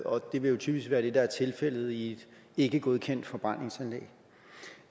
og det vil jo typisk være det der er tilfældet i et ikkegodkendt forbrændingsanlæg